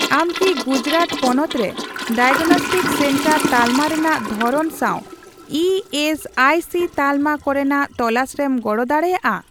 ᱟᱢ ᱠᱤ ᱜᱩᱡᱨᱟᱴ ᱯᱚᱱᱚᱛ ᱨᱮ ᱰᱟᱭᱟᱜᱱᱚᱥᱴᱤᱠ ᱥᱮᱱᱴᱟᱨ ᱛᱟᱞᱢᱟ ᱨᱮᱱᱟᱜ ᱫᱷᱚᱨᱚᱱ ᱥᱟᱣ ᱤ ᱮᱥ ᱟᱭ ᱥᱤ ᱛᱟᱞᱢᱟ ᱠᱚᱨᱮᱱᱟᱜ ᱛᱚᱞᱟᱥᱨᱮᱢ ᱜᱚᱲᱚ ᱫᱟᱲᱮᱭᱟᱜᱼᱟ ?